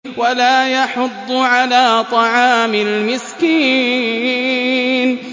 وَلَا يَحُضُّ عَلَىٰ طَعَامِ الْمِسْكِينِ